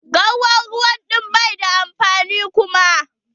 Garwar ruwa ɗin bai da amfani kuma.